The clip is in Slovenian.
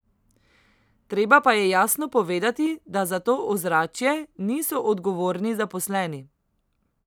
Treba pa je jasno povedati, da za to ozračje niso odgovorni zaposleni.